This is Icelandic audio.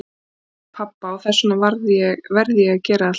Ég hef aldrei átt pabba og þess vegna verð ég að gera allt sjálfur.